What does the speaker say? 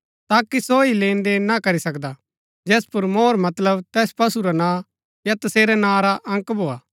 ताकि सो ही लेन देन ना करी सकदा जैस पुर मोहर मतलब तैस पशु रा नां या तसेरै नां रा अंक भोआ